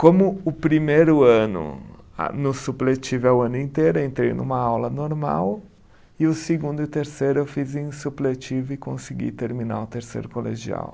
Como o primeiro ano ah, no supletivo é o ano inteiro, eu entrei numa aula normal, e o segundo e terceiro eu fiz em supletivo e consegui terminar o terceiro colegial.